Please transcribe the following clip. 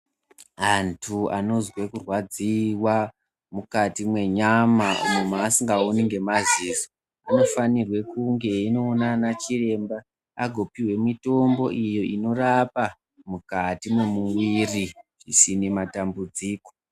Antu anozwe kurwadziwa mukati mwenyama umo maasikaoni ngemaziso anofanirwe kunge einoona ana chiremba agopihwe mitombo iyo inorapa mukati memuwiri zvisine matambudziko.